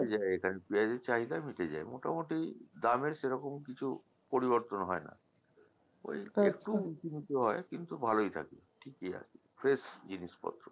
যায় এখানে পেঁয়াজের চাহিদা মিটে যায় মোটামুটি দামের সেরকম কিছু পরিবর্তন হয়না ঐ একটু উচু নীচু হয় কিন্তু ভালোই থাকে ঠিকই আছে fresh জিনিস পত্র প্রথম কথক বলছে আচ্ছা